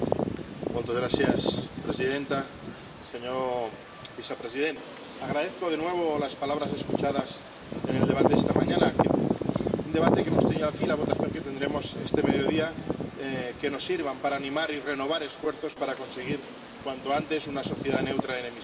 Señora presidenta, señor vicepresidente, agradezco de nuevo las palabras escuchadas en el debate de esta mañana. Espero que el debate que hemos tenido aquí y la votación que tendremos este mediodía nos sirvan para animar y renovar esfuerzos para conseguir cuanto antes una sociedad neutra en emisiones.